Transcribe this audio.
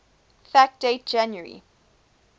fact date january